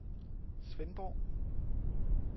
Svendborg